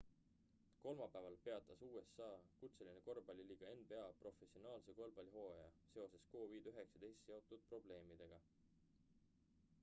kolmapäeval peatas usa kutseline korvpalliliiga nba professionaalse korvpallihooaja seoses covid-19 seotud probleemidega